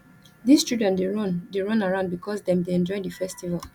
di children dey run dey run around bicos dem dey enjoy di festival